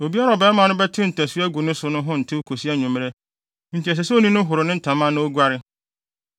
“ ‘Obiara a ɔbarima no bɛte ntasu agu ne so no ho ntew kosi anwummere, enti ɛsɛ sɛ onii no horo ne ntama na oguare.